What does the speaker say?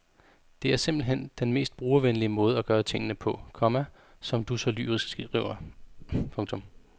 Det er simpelt hen er den mest brugervenlige måde at gøre tingene på, komma som du så lyrisk skriver. punktum